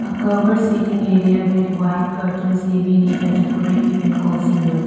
A cover seating area with white curtains giving it a decorative and cosy looks.